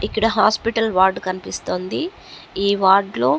ఇక్కడ hospital ward కనిపిస్తుంది ఈ వార్డ్ లో --